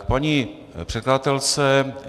K paní předkladatelce.